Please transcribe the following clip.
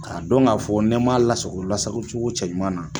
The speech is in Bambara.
K'a dɔn k'a fɔ n m'a lasago lasago cogo cɛ ɲuman na